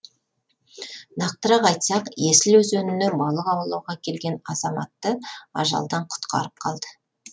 нақтырақ айтсақ есіл өзеніне балық аулауға келген азаматты ажалдан құтқарып қалды